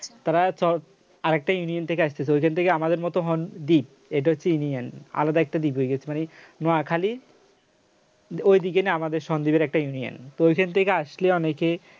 তারা আরেকটা ইউনিয়ন থেকে আসছে তো এখান থেকে আমাদের মত হন দ্বীপ এটা হচ্ছে union আলাদা একটা দ্বীপ হয়ে গেছে মানে নোয়াখালী ওই দিকেরি আমাদের সন্দ্বীপের একটা union তো ওখান থেকে আসলে অনেকে